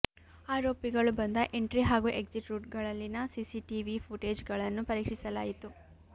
ಅರೋಪಿಗಳು ಬಂದ ಎಂಟ್ರಿ ಹಾಗೂ ಎಕ್ಸಿಟ್ ರೂಟ್ಗಳಲ್ಲಿನ ಸಿಸಿಟಿವಿ ಫೂಟೇಜ್ಗಳನ್ನು ಪರೀಕ್ಷಿಸಲಾಯಿತು